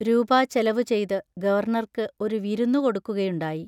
രൂപാ ചെലവുചെയ്ത് ഗവർണർക്ക് ഒരു വിരുന്നു കൊടുക്കുക യുണ്ടായി.